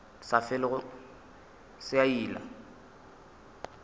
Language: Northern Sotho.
sa felego se a ila